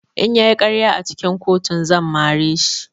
In ya yi ƙarya a cikin kotun zan mare shi.